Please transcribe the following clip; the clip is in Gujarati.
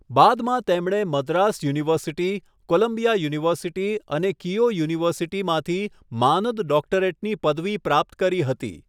બાદમાં તેમણે મદ્રાસ યુનિવર્સિટી, કોલંબિયા યુનિવર્સિટી અને કીયો યુનિવર્સિટીમાંથી માનદ ડોક્ટરેટની પદવી પ્રાપ્ત કરી હતી.